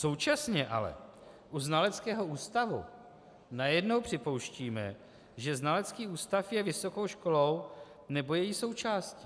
Současně ale u znaleckého ústavu najednou připouštíme, že znalecký ústav je vysokou školou nebo její součástí.